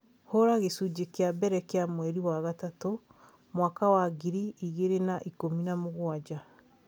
hũra gĩcunjĩ kĩa mbere kĩa mweri wa gatatũ, mwaka wa ngiri igĩrĩ na ikũmi na mũgwanja